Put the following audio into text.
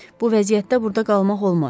Bu vəziyyətdə burda qalmaq olmaz.